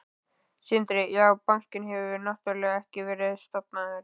Sindri: Já, bankinn hefur náttúrulega ekki verið stofnaður?